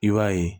I b'a ye